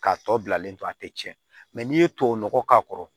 K'a tɔ bilalen to a tɛ tiɲɛ n'i ye tubabu nɔgɔ k'a kɔrɔ